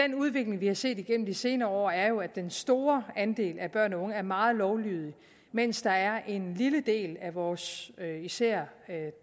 den udvikling vi har set gennem de senere år er jo at den store andel af børn og unge er meget lovlydige mens der er en lille del af vores især